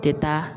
Tɛ taa